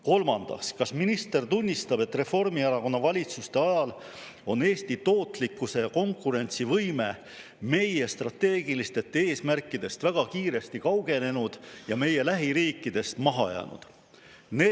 Kolmandaks, kas minister tunnistab, et Reformierakonna valitsuste ajal on Eesti tootlikkus ja konkurentsivõime meie strateegilistest eesmärkidest väga kiiresti kaugenenud ja meie lähiriikidest maha jäänud?